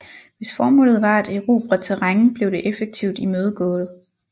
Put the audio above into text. Hvis formålet var at erobre terræn blev det effektivt imødegået